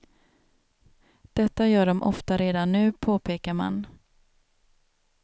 Detta gör de ofta redan nu, påpekar man.